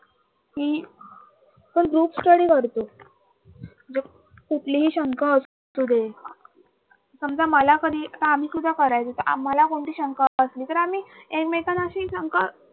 कि जो GroupStudy करतो ज्यात कुठलीही शंका असू दे समजा मला कधी आता आम्हीसुद्धा करायचो आम्हाला कोणती शंका असली तर आम्ही एकमेकांना अशी शंका